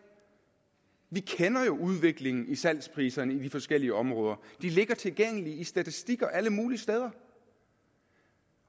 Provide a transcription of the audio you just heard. vi kender jo udviklingen i salgspriserne i de forskellige områder de ligger tilgængelige i statistikker alle mulige steder